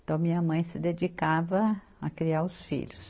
Então, minha mãe se dedicava a criar os filhos.